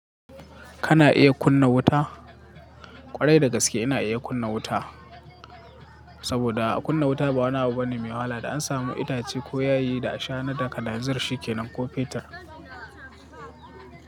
Kana iya kunna wuta? Kwarai da gaske ina iya kunna wuta saboda a kunna wuta ba wani abu bane mai wahala. Da an samu itace ko yayi da ashana da kananzir shi kenan ko fetur.